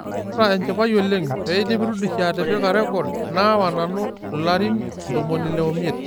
Kaata enchipai oleng' peidip Rudisha atipika rekod naawa nanu ilarin 65.